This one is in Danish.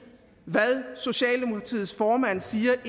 hvad socialdemokratiets formand siger